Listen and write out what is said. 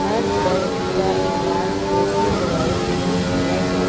हर दर्द का इलाज देसी दवाई से ही किया जा--